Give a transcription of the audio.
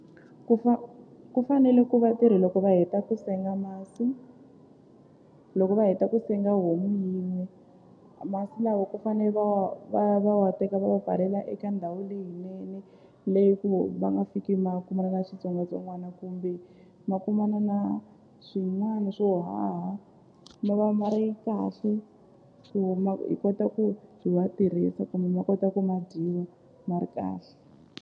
Ku ku fanele ku vatirhi loko va heta ku senga masi loko va heta ku senga homu yin'we masi lawa ku fane va wa va va wa teka va wu pfalela eka ndhawu leyinene leyi ku va nga fiki ma kuma na xitsongwatsongwana kumbe ma kumana na swin'wana swo haha ma va ma ri kahle ku hi kota ku hi wa tirhisa kumbe ma kota ku ma dyiwa ma ri kahle.